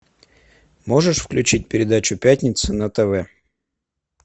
можешь включить передачу пятница на тв